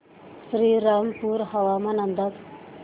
श्रीरामपूर हवामान अंदाज